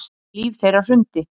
Líf þeirra hrundi